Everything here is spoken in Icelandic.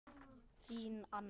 Þín Anna.